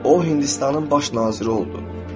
O Hindistanın baş naziri oldu.